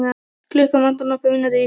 Klukkuna vantar nokkrar mínútur í tíu.